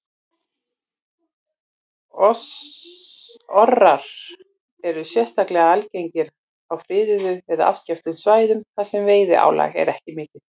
Orrar eru sérstaklega algengir á friðuðum eða afskekktum svæðum þar sem veiðiálag er ekki mikið.